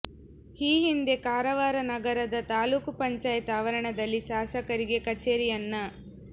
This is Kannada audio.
ಈ ಹಿಂದೆ ಕಾರವಾರ ನಗರದ ತಾಲೂಕು ಪಂಚಾಯತ್ ಆವರಣದಲ್ಲಿ ಶಾಸಕರಿಗೆ ಕಚೇರಿಯನ್ನ